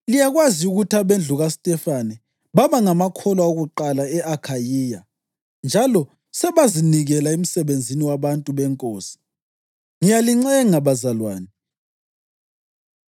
Liyakwazi ukuthi abendlu KaStefane baba ngamakholwa akuqala e-Akhayiya njalo sebazinikela emsebenzini wabantu beNkosi. Ngiyalincenga, bazalwane,